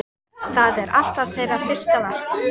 Það er alltaf þeirra fyrsta verk.